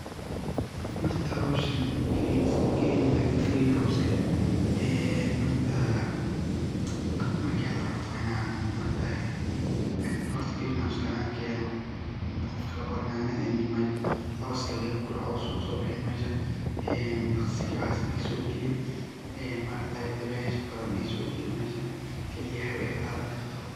Ma aragtaye howshan ee green house waa inan green house an kenoo. Qofka labaro yanyada iyo waxas oo daqsiga uu so galin ee maragtay dabesha badan ay sogalin mesha oo kaliya hawaa badan ay gadan karto